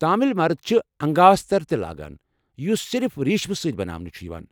تامل مرد چھِ انگاوستر تہِ لاگان یُس صِرف ریٖشم سٕتۍ بناونہٕ چھُ یوان ۔